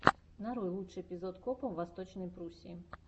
нарой лучший эпизод копа в восточной пруссии